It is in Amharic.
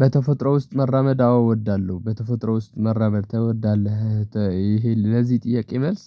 በተፈጥሮ ውስጥ መራመድ አዎ እወዳለሁ። በተፈጥሮ ውስጥ መራመድ ትወዳለህ? ይሄ ለዚህ ጥያቄ መልስ